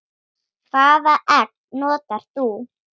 Hvaða egg notar þú?